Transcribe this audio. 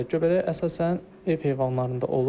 Göbələk əsasən ev heyvanlarında olur.